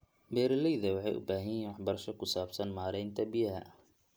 Beeralayda waxay u baahan yihiin waxbarasho ku saabsan maaraynta biyaha.